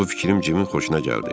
Bu fikrim Cimin xoşuna gəldi.